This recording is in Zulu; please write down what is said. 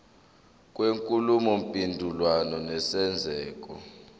kwenkulumo mpendulwano nesenzeko